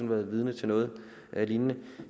været vidne til noget lignende